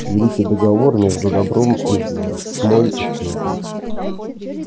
великий договор между добром и злом тьмой и светом